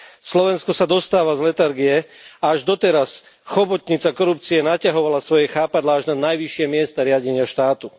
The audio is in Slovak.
Slovensko sa dostáva z letargie, a až doteraz chobotnica korupcie naťahovala svoje chápadlá až na najvyššie miesta riadenia štátu.